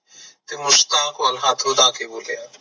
ਤੇ ਮੁਸਕਾਨ ਨਾਲ ਹੇਠ ਵਧਾ ਕੇ ਬੋਲਿਆ